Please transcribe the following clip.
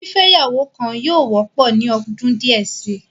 Fífẹ́ ìyàwó kan yóò wọ́pọ̀ ní ọdún díẹ̀ si.